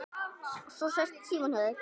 Svo sest Símon hjá þeim